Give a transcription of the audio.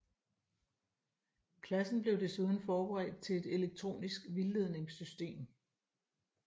Klassen blev desuden forberedt til et elektronisk vildledningssystem